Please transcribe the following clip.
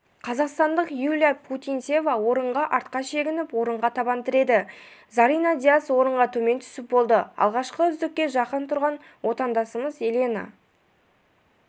қазақстандық юлия путинцева орынға артқа шегініп орынға табан тіреді зарина дияс орынға төмен түсіп болды алғашқы үздікке жақын тұрған отандасымыз елена